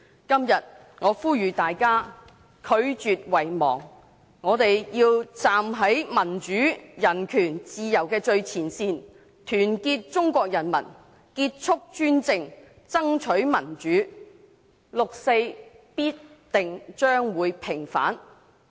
今天，我呼籲大家拒絕遺忘，我們要站在民主、人權和自由的最前線，團結中國人民，結束一黨專政，爭取民主，六四必將平反。